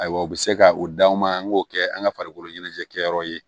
Ayiwa u bɛ se ka o d'anw ma an k'o kɛ an ka farikolo ɲɛnajɛ kɛ yɔrɔ ye